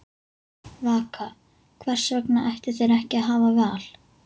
Vaka: Hvers vegna ættu þeir ekki að hafa val?